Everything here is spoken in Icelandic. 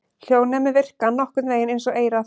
Hljóðnemar virka nokkurn vegin eins og eyrað.